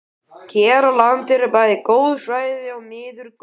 Hér á landi eru bæði góð svæði og miður góð.